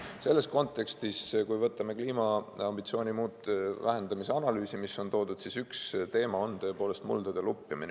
Selles kontekstis – kui võtame kliimaambitsiooni vähendamise analüüsi, mis on toodud – üks teema on tõepoolest muldade lupjumine.